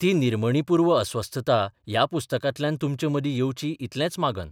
ती निर्मणीपूर्व अस्वस्थता ह्या पुस्तकांतल्यान तुमचे मदीं येवची इतलेंच मागन.